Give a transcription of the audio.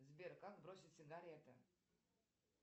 сбер как бросить сигареты